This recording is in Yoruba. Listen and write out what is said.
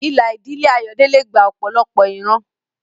Ìlà ìdílé Ayodele gba ọ̀pọ̀lọpọ̀ ìran.